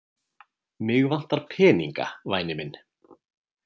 Mig vantar peninga, væni minn.